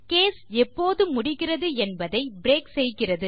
case எப்போது முடிகிறது என்பதை பிரேக் செய்கிறது